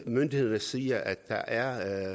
myndighederne siger at der